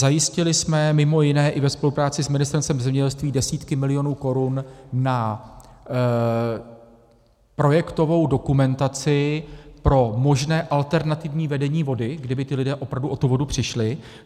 Zajistili jsme mimo jiné i ve spolupráci s Ministerstvem zemědělství desítky milionů korun na projektovou dokumentaci pro možné alternativní vedení vody, kdyby ti lidé opravdu o tu vodu přišli.